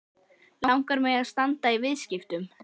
Langar mig að standa í viðskiptum?